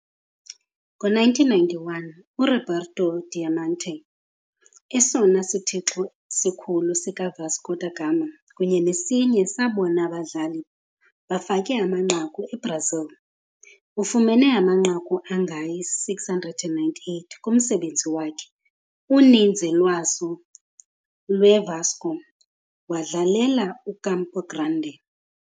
Ngo-1991, uRoberto Dinamite, Esona sithixo sikhulu sikaVasco da Gama kunye nesinye sabona badlali bafake amanqaku eBrazil, ufumene amanqaku angama-698 kumsebenzi wakhe, uninzi lwazo lweVasco, wadlalela uCampo Grande.